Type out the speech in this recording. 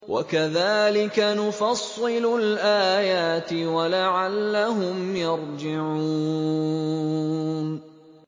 وَكَذَٰلِكَ نُفَصِّلُ الْآيَاتِ وَلَعَلَّهُمْ يَرْجِعُونَ